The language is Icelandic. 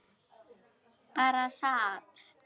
Bara sat.